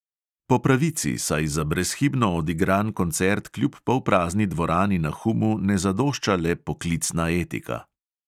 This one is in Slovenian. Po pravici, saj za brezhibno odigran koncert kljub polprazni dvorani na humu ne zadošča le poklicna etika.